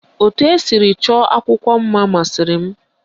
Etu esiri chọọ akwụkwọ mma masịrị m